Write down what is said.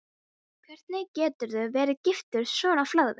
Þú spyrð hvernig mér vegni hér vestra.